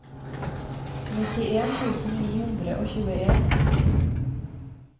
nittien tusen ni hundre og tjueen